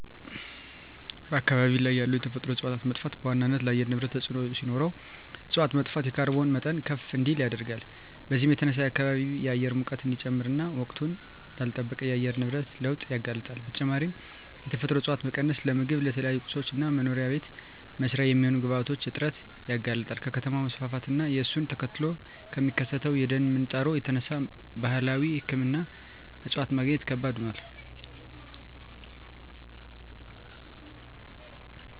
በአካባቢ ያሉ የተፈጥሮ እፀዋት መጥፋት በዋናነት ለአየር ንብረት ተፅዕኖ ሲኖረው እፅዋት መጥፋት የካርቦን መጠን ከፍ እንዲል ያደርጋል። በዚህም የተነሳ የከባቢ አየር ሙቀት እንዲጨምር እና ወቅቱን ላልለጠበቀ የአየር ንብረት ለውጥ ያጋልጣል። በተጨማሪም የተፈጥሮ እፀዋት መቀነስ ለምግብ፣ ለተለያዩ ቁሳቁሶች እና መኖሪያ ቤት መስሪያ የሚሆኑ ግብአቶች እጥረት ያጋልጣል። ከከተማ መስፋፋት እና እሱን ተከትሎ ከሚከሰተው የደን ምንጣሮ የተነሳ ባህላዊ ሕክምና እፅዋት ማግኘት ከባድ ሆኗል።